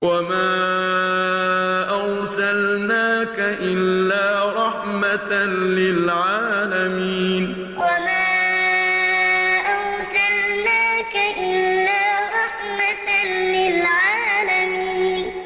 وَمَا أَرْسَلْنَاكَ إِلَّا رَحْمَةً لِّلْعَالَمِينَ وَمَا أَرْسَلْنَاكَ إِلَّا رَحْمَةً لِّلْعَالَمِينَ